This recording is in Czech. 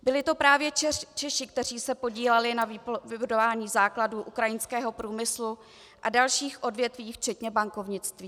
Byli to právě Češi, kteří se podíleli na vybudování základů ukrajinského průmyslu a dalších odvětví včetně bankovnictví.